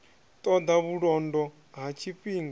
ṱo ḓa vhulondo ha tshifhinga